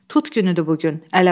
Tut günüdür bu gün.